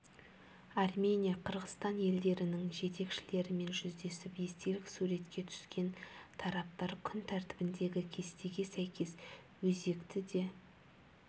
армения қырғызстан елдерінің жетекшілерімен жүздесіп естелік суретке түскен тараптар күн тәртібіндегі кестеге сәйкес өзекті де